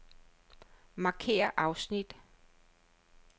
Markér afsnit.